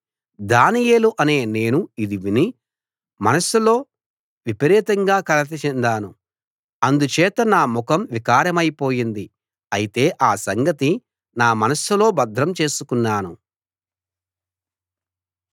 దానియేలు అనే నేను ఇది విని మనస్సులో విపరీతంగా కలత చెందాను అందుచేత నా ముఖం వికారమై పోయింది అయితే ఆ సంగతి నా మనస్సులో భద్రం చేసుకున్నాను